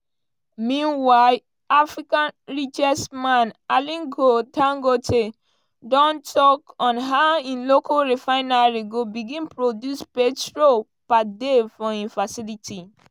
meanwhile africa richest man aliko dangote don tok on how im local refinery go begin produce petrol per day for im facility.